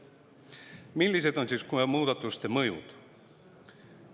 Millised on siis muudatuste mõjud?